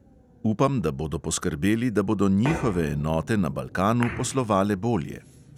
Upam, da bodo poskrbeli, da bodo njihove enote na balkanu poslovale bolje.